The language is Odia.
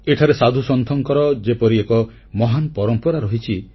ଏଠାରେ ସାଧୁସନ୍ଥଙ୍କର ଯେପରି ଏକ ମହାନ ପରମ୍ପରା ରହିଛି